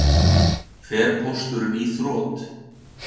Þorbjörn: Fer Pósturinn í þrot?